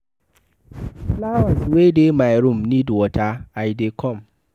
The flowers wey dey my room need water, I dey come.